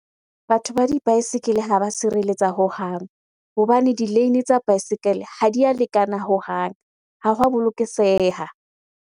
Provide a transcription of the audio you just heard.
Batho ba dibaesekele ha ba sireletsa hohang. Hobane di-lane tsa baesekele ha di a lekana hohang. Ha wa .